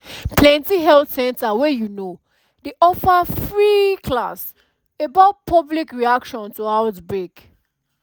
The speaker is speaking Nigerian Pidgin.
plenty health center wey you know dey offer free class about public reaction to outbreak